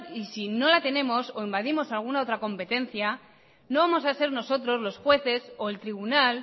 y si no la tenemos o invadimos alguna otra competencia no vamos a ser nosotros los jueces o el tribunal